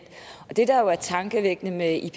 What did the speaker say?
og det der jo er tankevækkende med ippc